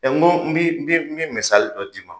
n go n bi n bi dɔ d'i ma